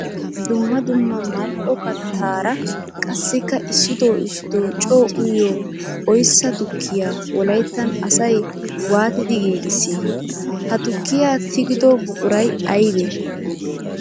Dumma dumma mali'o kattara qassikka issitto issitto coo uyiyo oyssa tukkiya wolayttan asay waattiddi giiggissi? Ha tukiya tigiddo buquray aybbe?